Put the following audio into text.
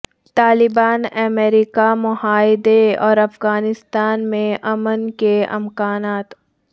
طالبان امریکہ معاہدہ اور افغانستان میں امن کے امکانات